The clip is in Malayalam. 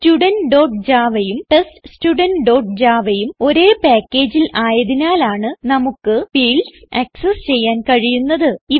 Studentjavaയും TestStudentjavaയും ഒരേ packageൽ ആയതിനാലാണ് നമുക്ക് ഫീൽഡ്സ് ആക്സസ് ചെയ്യാൻ കഴിയുന്നത്